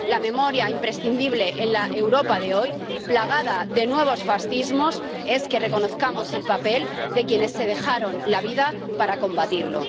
La memoria imprescindible en la Europa de hoy, plagada de nuevos fascismos, es que reconozcamos el papel de quienes se dejaron la vida para combatirlo.